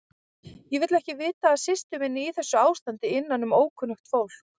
Ég vil ekki vita af systur minni í þessu ástandi innanum ókunnugt fólk.